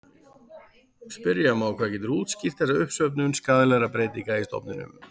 Spyrja má hvað getur útskýrt þessa uppsöfnun skaðlegra breytinga í stofninum.